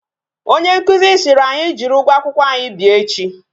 Onye nkụzi siri ànyị jiri ụgwọ akwụkwọ anyi bịa echi